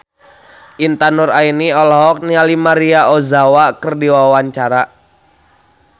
Intan Nuraini olohok ningali Maria Ozawa keur diwawancara